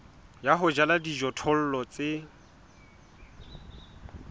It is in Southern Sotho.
ya ho jala dijothollo tse